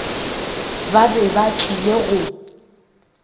ba be ba tlile go